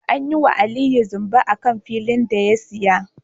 An yiwa Aliyu zamba akan filin da ya siya